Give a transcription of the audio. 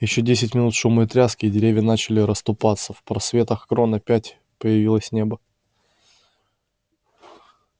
ещё десять минут шума и тряски и деревья начали расступаться в просветах крон опять появилось небо